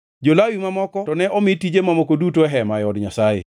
Jo-Lawi mamoko to ne omi tije mamoko duto e hema, e od Nyasaye.